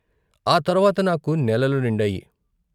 ఆ తర్వాత నాకు నెలలు నిండాయి.